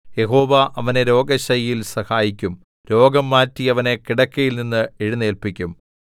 യഹോവ അവനെ രോഗശയ്യയിൽ സഹായിക്കും രോഗം മാറ്റി അവനെ കിടക്കയിൽനിന്ന് എഴുന്നേല്പിക്കും